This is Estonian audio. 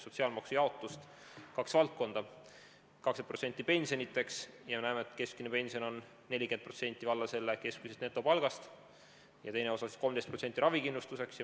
On kaks valdkonda: 20% läheb pensionideks ja teine osa, 13%, läheb ravikindlustuseks.